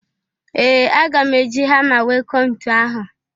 Ee! Aga m e ji hama wee kụọ ntu ahụ.